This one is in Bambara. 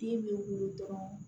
Den bɛ wolo dɔrɔn